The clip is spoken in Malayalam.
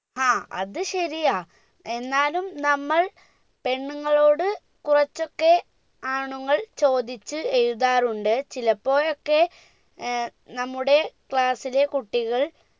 ആ അത് ശരിയാ എന്നാലും നമ്മൾ പെണ്ണുങ്ങളോട് കുറച്ചൊക്കെ ആണുങ്ങൾ ചോദിച്ച്‌ എഴുതാറുണ്ട് ചിലപ്പോഴൊക്കെ ഏർ നമ്മുടെ class ലെ കുട്ടികൾ